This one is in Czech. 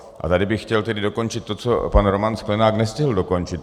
A tady bych chtěl tedy dokončit to, co pan Roman Sklenák nestihl dokončit.